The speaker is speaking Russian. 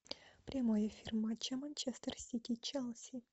прямой эфир матча манчестер сити челси